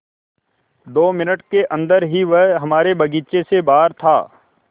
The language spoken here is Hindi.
दो मिनट के अन्दर ही वह हमारे बगीचे से बाहर था